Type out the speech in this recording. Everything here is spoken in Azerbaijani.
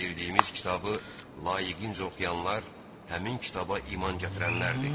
Verdiyimiz kitabı layiqincə oxuyanlar həmin kitaba iman gətirənlərdir.